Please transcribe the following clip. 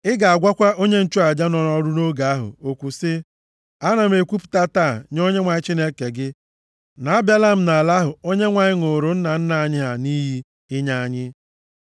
Ị ga-agwakwa onye nchụaja nọ nʼọrụ nʼoge ahụ okwu sị: “Ana m ekwupụta taa nye Onyenwe anyị Chineke gị na abịala m nʼala ahụ Onyenwe anyị ṅụụrụ nna nna anyị ha nʼiyi inye anyị.”